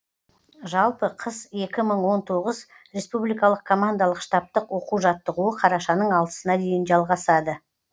жалпы қыс екі мың он тоғыз республикалық командалық штабтық оқу жаттығуы қарашаның алтысына дейін жалғасады